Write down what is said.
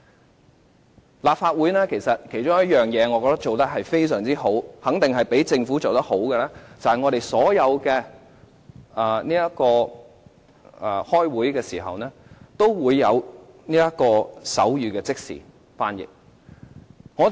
我覺得立法會有一件事做得非常好，肯定較政府做得好，便是我們所有會議都提供即時的手語翻譯。